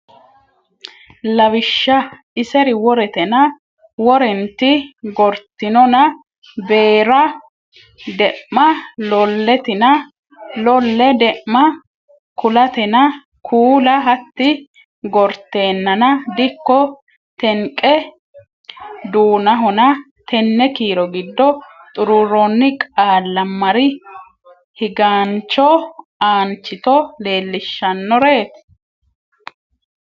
Lawishsha Iseri woretenna Worenniti gortinona Beera De’ma Loletina Lole De’ma kuulatena Kuula hatti gorteennana Dikko tenqe duunahona Tenne kiiro giddo xuruurroonni qaalla mari higaancho aanchito leellishshannoreeti.